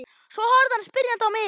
Svo horfði hann spyrjandi á mig.